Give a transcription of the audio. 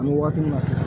An bɛ waati min na sisan